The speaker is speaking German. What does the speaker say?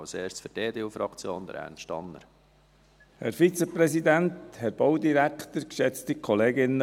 Zuerst für die EDU-Fraktion, Ernst Tanner.